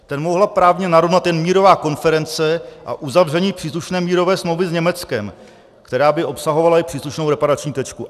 Ten mohla právně narovnat jen mírová konference a uzavření příslušné mírové smlouvy s Německem, která by obsahovala i příslušnou reparační tečku.